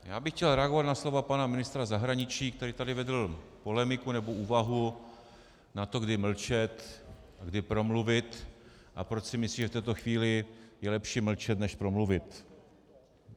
Já bych chtěl reagovat na slova pana ministra zahraničí, který tady vedl polemiku nebo úvahu na to, kdy mlčet a kdy promluvit a proč si myslí, že v této chvíli je lepší mlčet než promluvit.